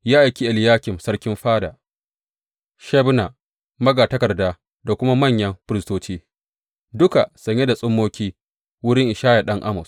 Ya aiki Eliyakim sarkin fada, Shebna magatakarda da kuma manyan firistoci, duka sanye da tsummoki, wurin Ishaya ɗan Amoz.